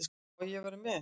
Má ég vera með?